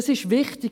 Das ist wichtig.